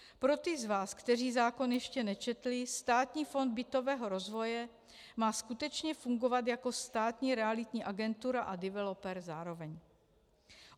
Pro ty z vás, kteří zákon ještě nečetli, Státní fond bytového rozvoje má skutečně fungovat jako státní realitní agentura a developer zároveň.